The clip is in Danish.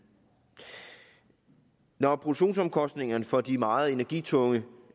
når produktionsomkostningerne for de meget energitunge